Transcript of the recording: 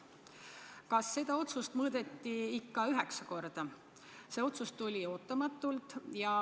Kuna see otsus tuli ootamatult, siis kas seda mõõdeti ikka üheksa korda?